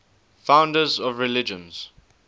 founders of religions